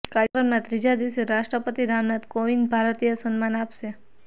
કાર્યક્રમના ત્રીજા દિવસે રાષ્ટ્રપતિ રામનાથ કોવિંદ ભારતીય સન્માન આપશે